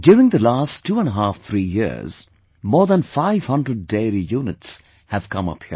During the last twoandahalf three years, more than 500 dairy units have come up here